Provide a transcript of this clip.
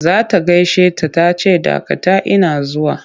Za ta gaishe ta ta ce dakata ina zuwa!